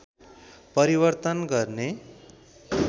परिवर्तन गर्ने